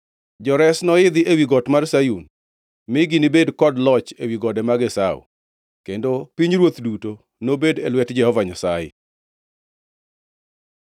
Jores noidhi ewi got mar Sayun, mi ginibed kod loch ewi gode mag Esau, kendo pinyruoth duto nobed e lwet Jehova Nyasaye.